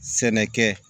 Sɛnɛkɛ